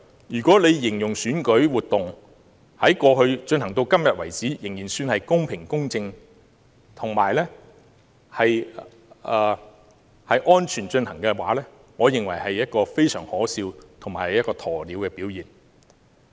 如果聶局長形容選舉活動由過去至今為止仍算是公平、公正及安全地進行，我認為這是一個非常可笑及鴕鳥的表現。